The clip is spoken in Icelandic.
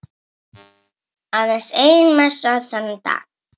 Aðeins ein messa þennan dag.